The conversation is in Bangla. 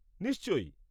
-নিশ্চয়ই!